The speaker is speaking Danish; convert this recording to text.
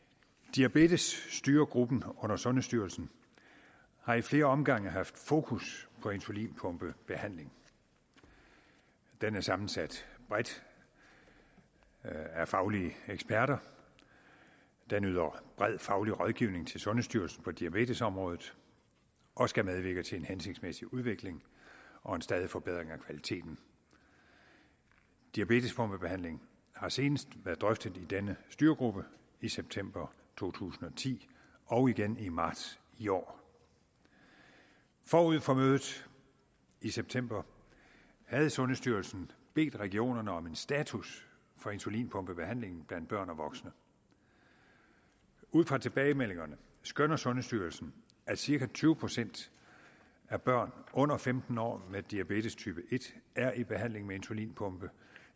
diabetesstyregruppen under sundhedsstyrelsen har i flere omgange haft fokus på insulinpumpebehandling den er sammensat bredt af faglige eksperter og den yder bred faglig rådgivning til sundhedsstyrelsen på diabetesområdet og skal medvirke til en hensigtsmæssig udvikling og en stadig forbedring af kvaliteten diabetespumpebehandling har senest været drøftet i denne styregruppe i september to tusind og ti og igen i marts i år forud for mødet i september havde sundhedsstyrelsen bedt regionerne om en status for insulinpumpebehandlingen blandt børn og voksne ud fra tilbagemeldingerne skønner sundhedsstyrelsen at cirka tyve procent af børn under femten år med diabetestype en er i behandling med insulinpumpe